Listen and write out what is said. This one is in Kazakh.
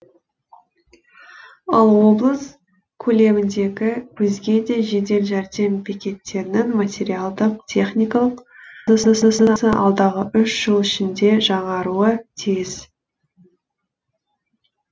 ал облыс көлеміндегі өзге де жедел жәрдем бекеттерінің материалдық техникалық базасы алдағы үш жыл ішінде жаңаруы тиіс